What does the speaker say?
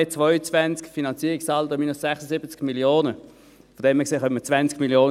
AFP 2022, Finanzierungssaldo minus 76 Mio. Franken.